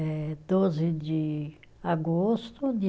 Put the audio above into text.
É doze de agosto de